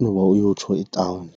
noba uyotsho etawuni.